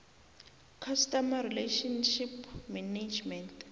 customer relationship management